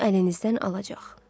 Onu əlinizdən alacaq.